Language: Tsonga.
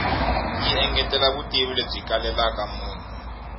yi engetela vutivi lebyi kalelaka munhu